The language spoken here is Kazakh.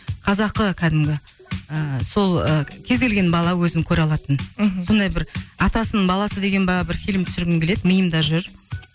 қазақы кәдімгі ыыы сол ы кез келген бала өзін көре алатын мхм сондай бір атасының баласы деген бе бір фильм түсіргім келеді миымды жүр